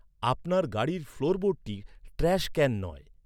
আপনার গাড়ির ফ্লোরবোর্ডটি ট্র্যাশ ক্যান নয়।